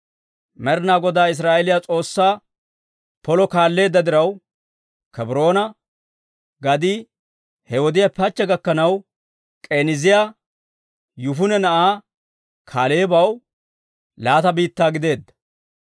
Med'ina Godaa Israa'eeliyaa S'oossaa polo kaalleedda diraw, Kebroona gadii he wodiyaappe hachche gakkanaw, K'eniiziyaa Yifune na'aa Kaaleebaw laata biittaa gideedda.